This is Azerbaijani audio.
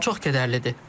Bu çox kədərlidir.